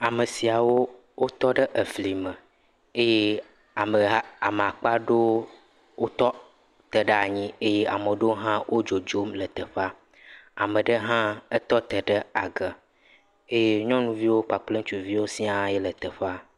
Ame siawo wotɔ ɖe eflime eye ameha, ame akpa ɖewo wotɔ te ɖe anyi eye amaa ɖewo hã, wodzodzom le teƒea. Ame ɖe hã, etɔte ɖe age eye nyɔnuvi kple ŋutsuviwo siaa ye le teƒea.